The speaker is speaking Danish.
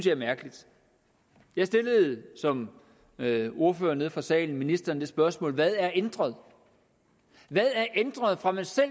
er mærkeligt jeg stillede som ordfører nede fra salen ministeren det spørgsmål hvad er ændret hvad er ændret fra man selv